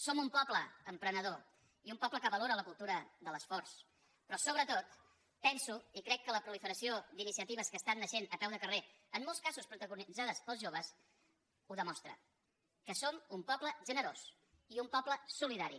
som un poble emprenedor i un poble que valora la cultura de l’esforç però sobretot penso i crec que la proliferació d’iniciatives que estan naixent a peu de carrer en molts casos protagonitzades pels joves ho demostra que som un poble generós i un poble solidari